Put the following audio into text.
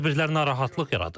Bu tədbirlər narahatlıq yaradır.